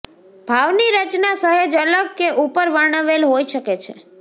ભાવ ની રચના સહેજ અલગ કે ઉપર વર્ણવેલ હોઈ શકે છે